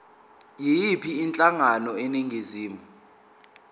yiyiphi inhlangano eningizimu